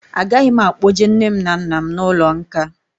Agaghị m akpọje nne m na nna m n'ụlọ nkà